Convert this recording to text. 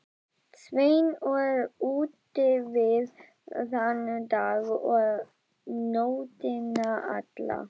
Sveinn var útivið þann dag og nóttina alla.